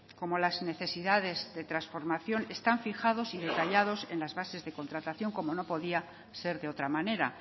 como las necesidades de transformación están fijados y detallados en las bases de contratación como no podía ser de otra manera